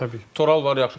Toral var, yaxşı.